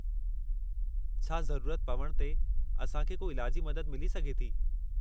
छा ज़रूरत पवण ते असांखे को इलाजी मदद मिली सघे थी?